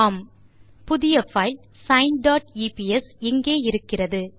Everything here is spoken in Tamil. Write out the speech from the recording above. ஆமாம் புதிய பைல் சைன் டாட் எப்ஸ் இங்கே இருக்கிறது